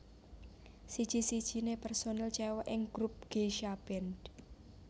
Siji sijine personil cewek ing grup Geisha band